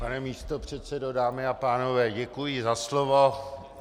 Pane místopředsedo, dámy a pánové, děkuji za slovo.